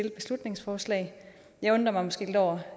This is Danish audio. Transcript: et beslutningsforslag jeg undrer mig måske lidt over